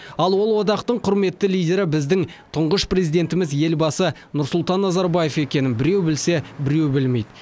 ал ол одақтың құрметті лидері біздің тұңғыш президентіміз елбасы нұрсұлтан назарбаев екенін біреу білсе біреу білмейді